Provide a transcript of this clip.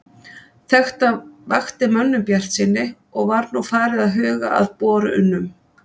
Þetta vakti mönnum bjartsýni, og var nú farið að huga að borunum.